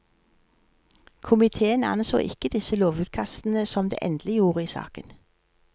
Komiteen anså ikke disse lovutkastene som det endelige ord i saken.